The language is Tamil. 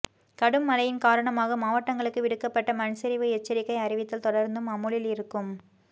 கடும் மழையின் காரணமாக மாவட்டங்களுக்கு விடுக்கப்பட்ட மண்சரிவு எச்சரிக்கை அறிவித்தல் தொடர்ந்தும் அமுலில் இருக்கும்